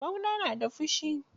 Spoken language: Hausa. Ɓauna na da fushi.